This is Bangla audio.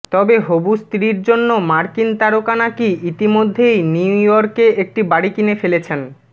তবে হবু স্ত্রীর জন্য মার্কিন তারকা নাকি ইতিমধ্যেই নিউ ইয়র্কে একটি বাড়ি কিনে ফেলেছেন